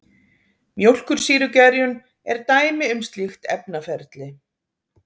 Mjólkursýrugerjun er dæmi um slíkt efnaferli.